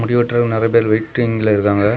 முடி வெட்றவங்க நெறைய பேர் வெயிட்டிங்ல இருக்காங்க.